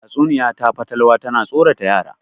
Tatsuniya ta fatalwa tana tsorata yara